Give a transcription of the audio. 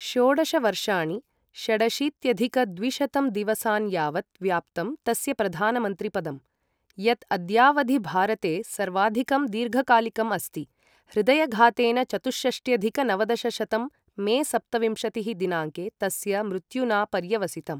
षोडश वर्षाणि, षडशीत्यधिक द्विशतं दिवसान् यावत् व्याप्तं तस्य प्रधानमन्त्रिपदं, यत् अद्यावधि भारते सर्वाधिकं दीर्घकालिकम् अस्ति, हृदयघातेन चतुःषष्ट्यधिक नवदशशतं मे सप्तविंशतिः दिनाङ्के तस्य मृत्युना पर्यवसितम्।